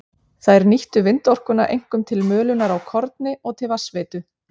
Þær nýttu vindorkuna einkum til mölunar á korni og til vatnsveitu.